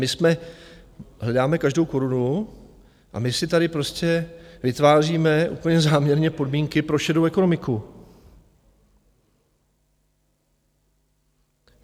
My jsme, hledáme každou korunu a my si tady prostě vytváříme úplně záměrně podmínky pro šedou ekonomiku.